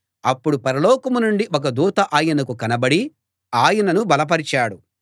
అప్పుడు పరలోకం నుండి ఒక దూత ఆయనకు కనపడి ఆయనను బలపరిచాడు